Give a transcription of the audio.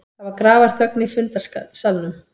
Það var grafarþögn í fundarsalnum.